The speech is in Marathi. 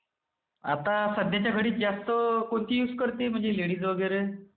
आता सध्याच्या घडीत जास्त कोणती युज करते म्हणजे लेडीज वगैरे?